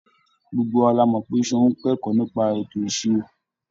Gbogbo wa la mọ̀ pé Ṣeun ń kẹ́kọ̀ọ́ nípa ètò ìṣirò.